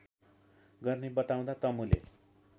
गर्ने बताउँदै तमुले